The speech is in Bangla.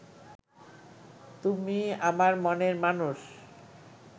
তুমি আমার মনের মানুষ